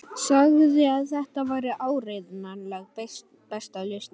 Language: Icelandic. Sagði að þetta væri áreiðanlega besta lausnin.